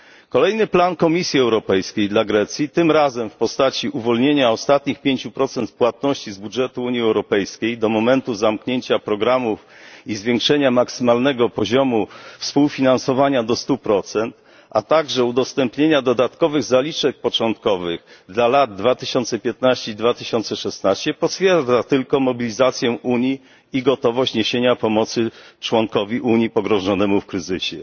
Kolejny plan Komisji Europejskiej dla Grecji tym razem w postaci uwolnienia ostatnich 5 płatności z budżetu Unii Europejskiej do momentu zamknięcia programów i zwiększenia maksymalnego poziomu współfinansowania do 100, a także udostępnienia dodatkowych zaliczek początkowych dla lat 2015 i 2016 potwierdza tylko mobilizację Unii i gotowość niesienia pomocy członkowi Unii pogrążonemu w kryzysie.